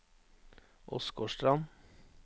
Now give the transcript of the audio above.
Åsgårdstrand